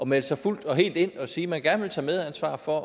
melde sig fuldt og helt ind og sige at man gerne vil tage medansvar for